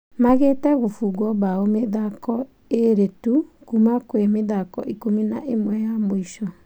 Magĩte gũbungwo bao mĩthako ĩrĩ tu kuma kwĩ mĩthako ikũmi na ĩmwe ya mũico.